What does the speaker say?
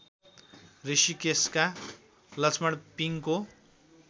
ऋषिकेषका Lakshman पिङको